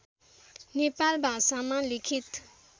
नेपाल भाषामा लिखित